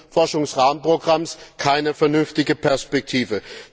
7. Forschungsrahmenprogramms keine vernünftige Perspektive.